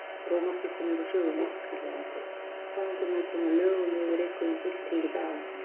Rómarkirkjan er úr sögunni, kallaði einhver,-konungur mun koma lögum yfir ykkur með fulltingi Daða!